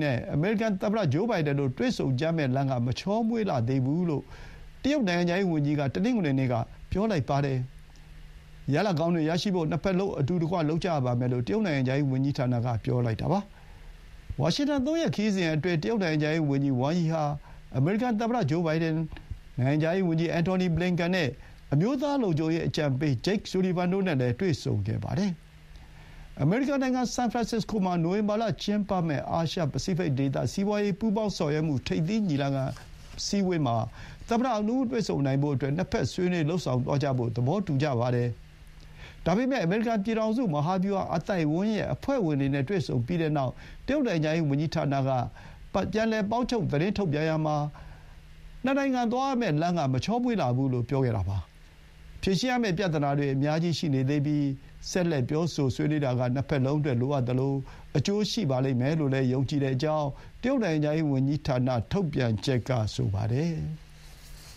နဲ့ အမေရိကန်သမ္မ ဂျိုးဘိုင်ဒန်တို့ တွေ့ဆုံကြမယ့်လမ်းက မချောမွေ့လှဘူးလို့ တရုတ် နိုင်ငံခြားရေး ဝန်ကြီးက တနင်္ဂနွေနေ့ က ပြောပါတယ်။ ရလဒ်ကောင်းတွေရဖို့ နှစ်ဘက်လုံး အတူတကွ လုပ်ကြရပါမယ်လို့ တရုတ် နိုင်ငံခြားရေးဝန်ကြီးဌာနက ပြောလိုက်တာပါ။ ဝါရှင်တန် သုံးရက်ခရီးစဥ်အတွင်း တရုတ် နိုင်ငံခြားရေးဝန်ကြီး ဝမ်ယီဟာ အမေရိကန်သမ္မတ ဂျိုးဘိုင်ဒန်၊ နိုင်ငံခြားရေးဝန်ကြီး အန်ထော်နီ ဘလင်ကန်နဲ့ အမျိုးသား လုံခြုံရေးအကြံပေး ဂျိတ်ဆူလီဗန်တို့နဲ့ တွေ့ဆုံခဲ့ပါတယ်။ အမေရိကန်နိုင်ငံ ဆန်ဖရန်ဆစ္စကိုမှာ နိုဝင်ဘာလ ကျင်းပမယ့် အာရှ ပစိဖိတ်ဒေသ စီးပွါးရေးပူးပေါင်းဆောင်ရွက်မှု ထိပ်သီးအစည်းအဝေးမှာ သမ္မတနှစ်ဦးတွေ့ဆုံနိုင်ဖို့အတွက် နှစ်ဘက်ဆွေးနွေးလုပ်ဆောင်သွားကြဖို့ သဘောတူကြပါတယ်။ ဒါပေမဲ့ “အမေရိကန် ပြည်ထောင်စု မဟာဗျူဟာ အသိုက်အဝန်းရဲ့ အဖွဲ့ဝင်တွေ” နဲ့ တွေ့ဆုံပြီးတဲ့နောက် တရုတ် နိုင်ငံခြားရေးဝန်ကြီးဌာနက ပေါင်းချုပ်သတင်းထုတ်ပြန်ရာမှာ “နှစ်နိုင်ငံသွားရမယ့်လမ်းက မချောမွေ့လှဘူး”လို့ ပြောခဲ့တာပါ။ ဖြေရှင်းရမယ့်ပြဿနာတွေ အများကြီး ရှိနေသေးပြီး ဆက်လက် ပြောဆိုဆွေးနွေးတာက နှစ်ဘက်လုံးအတွက် လိုအပ်သလို အကျိုးရှိလိမ့်မယ်လို့ ယုံကြည်ကြောင်း တရုတ်နိုင်ငံခြားရေး ဝန်ကြီးဌာန ထုတ်ပြန်ချက်က ဆိုပါတယ်။